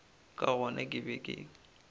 ka gona ke be ke